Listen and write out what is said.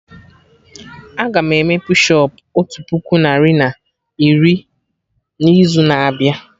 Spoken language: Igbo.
Aga m eme push ụp otu puku narị na iri na izu na abịa